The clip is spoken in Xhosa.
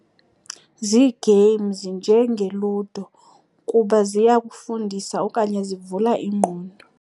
Zii-games njengeLudo kuba ziya kufundisa okanye zivula ingqondo.